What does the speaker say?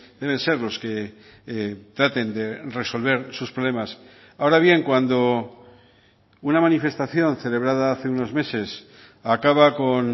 deben ser los que traten de resolver sus problemas ahora bien cuando una manifestación celebrada hace unos meses acaba con